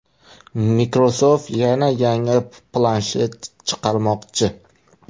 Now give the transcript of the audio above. Microsoft yana yangi planshet chiqarmoqchi.